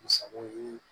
N sago ye